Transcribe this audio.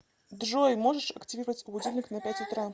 джой можешь активировать будильник на пять утра